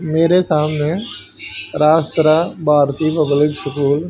मेरे सामने राज सरा भारती पब्लिक स्कूल --